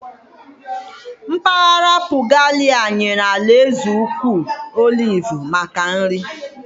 Mpaghara Puglia nyere alaeze ukwu oliv maka nri.